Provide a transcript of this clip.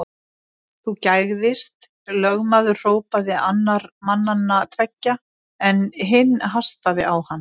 Þú gægðist, lögmaður hrópaði annar mannanna tveggja, en hinn hastaði á hann.